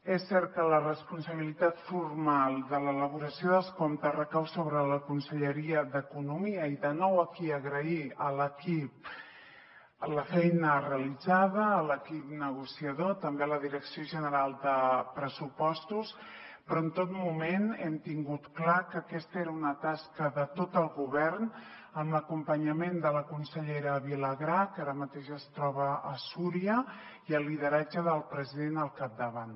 és cert que la responsabilitat formal de l’elaboració dels comptes recau sobre la conselleria d’economia i de nou aquí agrair a l’equip la feina realitzada a l’equip negociador també a la direcció general de pressupostos però en tot moment hem tingut clar que aquesta era una tasca de tot el govern amb l’acompanyament de la consellera vilagrà que ara mateix es troba a súria i el lideratge del president al capdavant